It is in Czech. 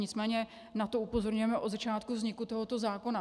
Nicméně na to upozorňujeme od začátku vzniku tohoto zákona.